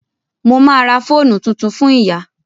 Mo ma ra fóònù tuntun fún ìyá